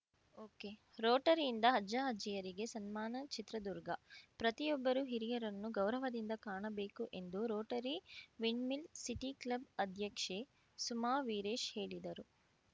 ಒಕೆರೋಟರಿಯಿಂದ ಅಜ್ಜ ಅಜ್ಜಿಯರಿಗೆ ಸನ್ಮಾನ ಚಿತ್ರದುರ್ಗ ಪ್ರತಿಯೊಬ್ಬರೂ ಹಿರಿಯರನ್ನು ಗೌರವದಿಂದ ಕಾಣಬೇಕು ಎಂದು ರೋಟರಿ ವಿಂಡ್‌ಮಿಲ್‌ ಸಿಟಿ ಕ್ಲಬ್‌ ಅಧ್ಯಕ್ಷೆ ಸುಮಾ ವೀರೇಶ್‌ ಹೇಳಿದರು